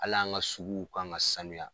Al'an ka suguw kan ka sanuya